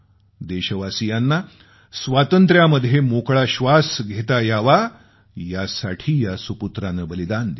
देशवासियांना स्वातंत्र्यामध्ये मोकळा श्वास घेता यावा यासाठी या सुपुत्रानं बलिदान दिलं